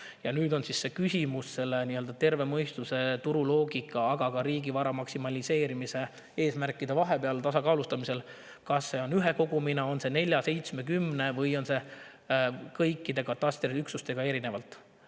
Ja nüüd on küsimus terve mõistuse, turuloogika ja riigivara maksimeerimise eesmärgi vahel tasakaalu: kas on üks kogum, neli, seitse või kümme üksust või kõik katastriüksused eraldi?